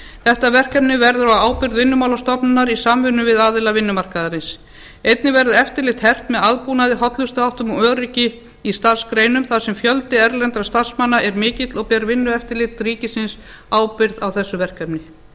þetta verkefni verður á ábyrgð vinnumálastofnunar í samvinnu við aðila vinnumarkaðarins einnig verður eftirlit hert með aðbúnaði hollustuháttum og öryggi í starfsgreinum þar sem fjöldi erlendra starfsmanna er mikill og ber vinnueftirlit ríkisins ábyrgð á þessu verkefni